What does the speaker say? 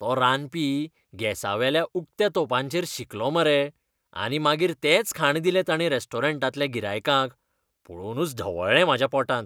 तो रांदपी गॅसावेल्या उक्त्या तोंपाचेरच शिंकलो मरे. आनी मागीर तेंच खाण दिलें तांणी रॅस्टॉरंटांतल्या गिरायकांक. पळोवनूच ढवळ्ळें म्हाज्या पोटांत!